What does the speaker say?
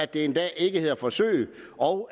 det en dag ikke hedder forsøg og